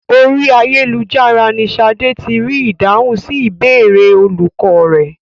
Orí ayélujára ni Ṣadé ti rí ìdáhùn sí ìbéèrè olùkọ́ rẹ̀.